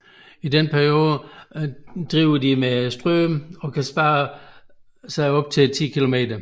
I denne periode driver de med strømmen og kan sprede sig op til 10 km